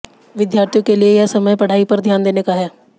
विद्यार्थियों के लिये यह समय पढ़ाई पर ध्यान देने का है